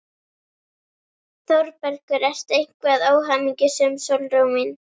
ÞÓRBERGUR: Ertu eitthvað óhamingjusöm, Sólrún mín?